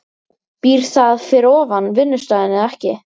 Býr það fyrir ofan vinnustaðinn eða ekki?